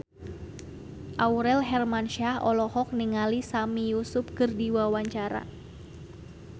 Aurel Hermansyah olohok ningali Sami Yusuf keur diwawancara